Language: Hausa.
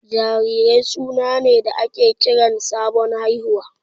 Jarirai suna ne da ake kiran sabon haihuwa.